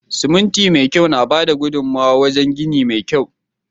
Siminti me kyau na bada gudunmawa wajen gini mai kwari.